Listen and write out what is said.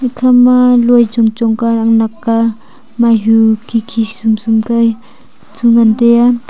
eikha ma loi chong chong ka nak nak ka minehu khi khi kya ngale taiya.